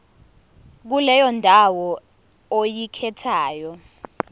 kuleyo ndawo oyikhethayo